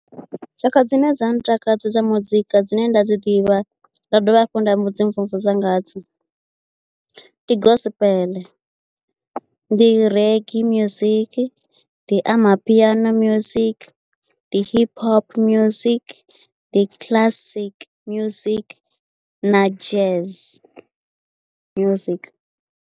Tshaka dzine dza ntakadze dza muzika dzine nda dzi ḓivha nda dovha hafhu nda dzi mvumvusa nga dzo ndi gospel ndi reggae music ndi amapiano music ndi hip hop music ndi classic music na jazz music.